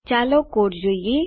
ચાલો કોડ જોઈએ